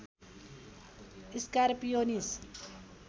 scar pianist